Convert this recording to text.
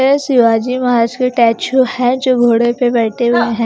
शिवाजी महाराज के टैचू है जो घोड़े पे बैठे हुए हैं।